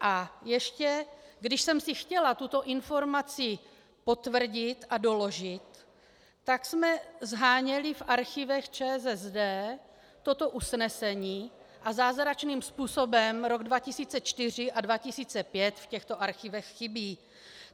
A ještě když jsem si chtěla tuto informaci potvrdit a doložit, tak jsme sháněli v archívech ČSSD toto usnesení a zázračným způsobem rok 2004 a 2005 v těchto archívech chybí.